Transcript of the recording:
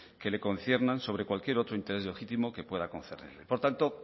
que le conciernan sobre cualquier otro interés legítimo que pueda concernirle por tanto